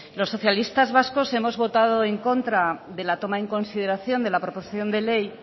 los socialistas vascos hemos votado en contra de la toma en consideración de la proposición de ley